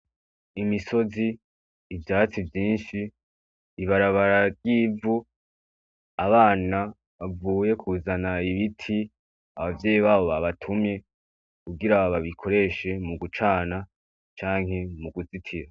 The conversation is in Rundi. Imisozi , ivyatsi vyinshi , ibarabara ry’ivu , abana bavuye kuzana ibiti abavyeyi babo babatumye kugira babikoreshe mu gucana canke mukuzitira.